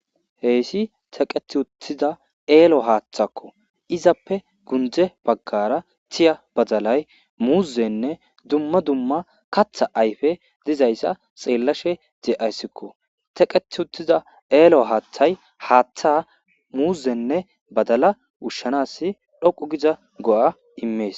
Heyssi teqeti uttiza eelo haaththakko izappe gundze baggara tiya badalay muuzenne dumma dumma katha ayfe dizayssa xeellashe de'ayssikko teqet uttiza eelo haaththay haaththa muuzenne badala ushshanas dhoqu giza go'a immees.